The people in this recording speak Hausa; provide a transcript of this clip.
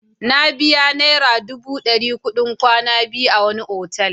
Na biya naira dubu ɗari kuɗin kwana biyu a wani otal.